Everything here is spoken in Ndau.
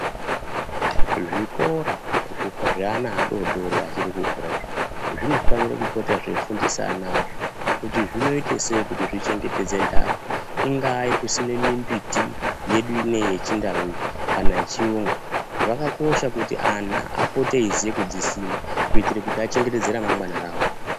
Zvikora zveana adodori achiri kukura izvi zvinofanira kupota zveifundisa ana azvo kuti zvinoitesei kuti zvichengetedxe ndaka ingaa yekusima mimbiti yedu ineyi yechindau iyi kana yechiyungu zvakakosha kuti ana apote veiziya kudzisima kuitira kuti achengetedze ramangwana rawo.